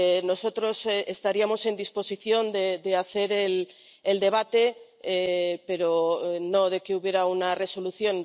Nosotros estaríamos en disposición de hacer el debate, pero no de que hubiera una resolución.